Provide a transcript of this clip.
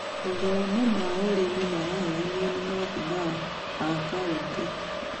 Mathomo ma ũrĩmi maraheyanwo nĩ maabica a kaunĩtĩ.